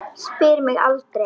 Spyr mig aldrei.